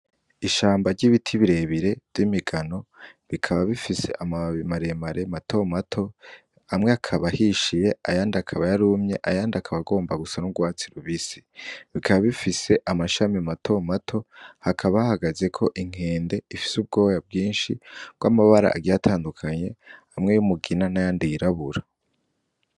Ishamba ry'ibiti birebire vy'imigano bikaba bifise amababi maremare mato mato amwe akaba ahishiye ayandi akaba yarumye ayandi akaba agomba gusa n'urwatsi rubisi, bikaba bifise amashami mato mato hakaba hahagazeko inkende ifise ubwoya bwinshi bw'amabara agiye atandukanye hamwe nay'umugina nayandi yirabura.